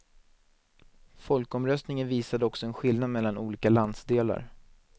Folkomröstningen visade också en skillnad mellan olika landsdelar.